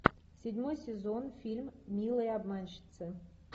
седьмой сезон фильм милые обманщицы